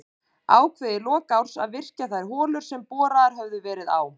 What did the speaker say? Ákveðið í lok árs að virkja þær holur sem boraðar höfðu verið á